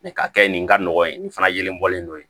K'a kɛ nin ka nɔgɔ ye nin fana yelen bɔlen don ye